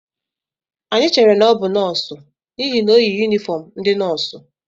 Anyị chere na ọ bụ nọọsụ n'ihi na o yi yunifọm ndị nọọsụ